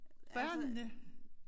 Børnene?